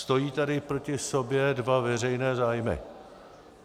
Stojí tady proti sobě dva veřejné zájmy.